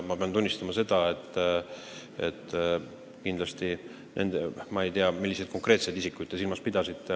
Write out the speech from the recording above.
Ma pean tunnistama, et ma ei tea, milliseid konkreetseid isikuid te silmas pidasite.